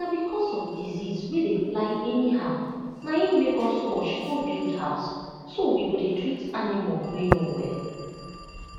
na because of disease wey dey fly anyhow na im make us rush go build house so we go dey treat animal wey no well